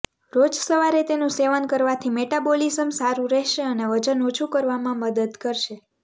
રોજ સવારે તેનુ સેવન કરવાથી મેટાબોલિજ્મ સારું રહેશે અને વજન ઓછું કરવામાં મદદ કરશે